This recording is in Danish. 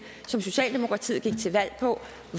som socialdemokratiet gik til valg på